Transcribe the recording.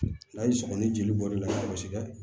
N'a y'i sɔgɔ ni jeli bɔr'i la kosɛbɛ